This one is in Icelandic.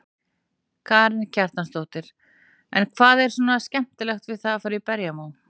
Karen Kjartansdóttir: En hvað er svona skemmtilegt við að fara í berjamó?